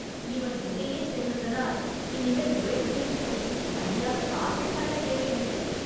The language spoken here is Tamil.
இவன் இங்கேயே சேர்ந்ததனால், இனிமேல் நுழைவு தேர்வு பயிற்சிக்கு தனியாக காசே கட்ட தேவையில்லை